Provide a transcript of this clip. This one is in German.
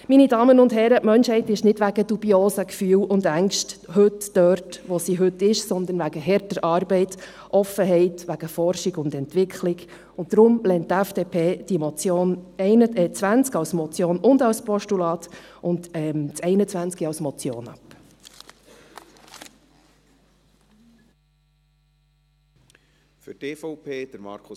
Meine Damen und Herren, die Menschheit ist heute nicht wegen dubiosen Gefühlen und Ängsten dort, wo sie heute ist, sondern wegen harter Arbeit, Offenheit, wegen Forschung und Entwicklung, und daher lehnt die FDP die Motion 20 , als Motion und als Postulat, und die Motion 21 ab.